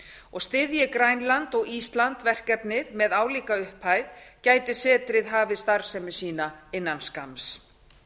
og styðji grænland og ísland verkefnið með álíka upphæð gæti setrið hafið starfsemi sína innan skamms